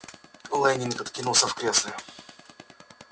лэннинг откинулся в кресле